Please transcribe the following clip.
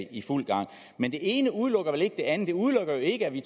i fuld gang men det ene udelukker vel ikke det andet det udelukker jo ikke at vi